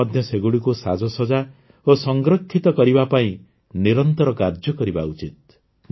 ଆମେ ମଧ୍ୟ ସେଗୁଡ଼ିକୁ ସାଜସଜ୍ଜା ଓ ସଂରକ୍ଷିତ କରିବା ପାଇଁ ନିରନ୍ତର କାର୍ଯ୍ୟ କରିବା ଉଚିତ